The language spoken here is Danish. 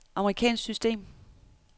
amerikansk system